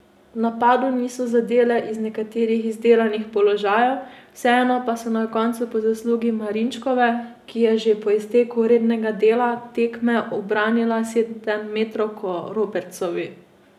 V napadu niso zadele iz nekaterih izdelanih položajev, vseeno pa so na koncu po zaslugi Marinčkove, ki je že po izteku rednega dela tekme ubranila sedemmetrovko Robertsovi.